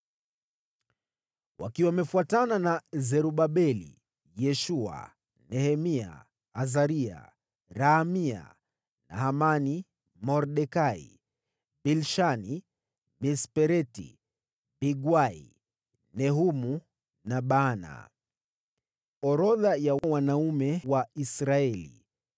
wakiwa wamefuatana na Zerubabeli, Yeshua, Nehemia, Azaria, Raamia, Nahamani, Mordekai, Bilshani, Mispereti, Bigwai, Nehumu na Baana): Orodha ya wanaume wa Israeli ilikuwa: